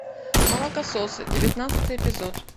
молокососы девятнадцатый эпизод